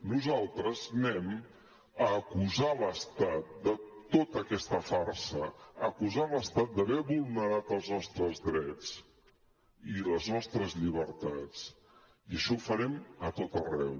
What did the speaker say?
nosaltres anem a acusar l’estat de tota aquesta farsa a acusar l’estat d’haver vulnerat els nostres drets i les nostres llibertats i això ho farem a tot arreu